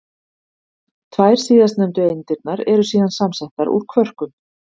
Tvær síðastnefndu eindirnar eru síðan samsettar úr kvörkum.